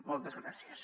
moltes gràcies